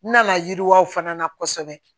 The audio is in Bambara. N nana yiriwa fana na kosɛbɛ